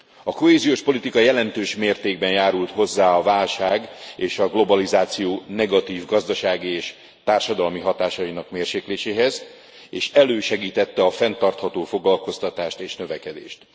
A kohéziós politika jelentős mértékben járult hozzá a válság és a globalizáció negatív gazdasági és társadalmi hatásainak mérsékléséhez, és elősegítette a fenntartható foglalkoztatást és növekedést.